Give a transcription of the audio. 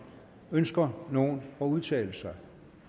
ønsker nogen at udtale sig